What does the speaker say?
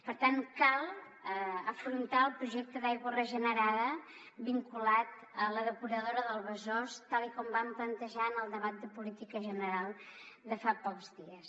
per tant cal afrontar el projecte d’aigua regenerada vinculat a la depuradora del besòs tal com vam plantejar en el debat de política general de fa pocs dies